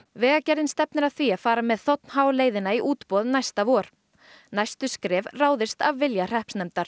vegagerðin stefnir að því að fara með þ h leiðina í útboð næsta vor næstu skref ráðist á vilja hreppsnefndar